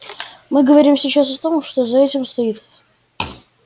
мы говорим сейчас о том что за этим стоит